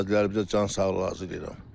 Qazilərimizə can sağlığı arzulayıram.